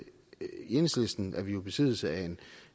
enhedslisten er vi jo i besiddelse af en